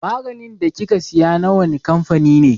Maganin da kika siya na wane kamfani ne?